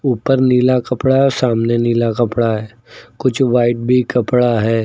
ऊपर नीला कपड़ा है और सामने नीला कपड़ा है कुछ व्हाइट भी कपड़ा है।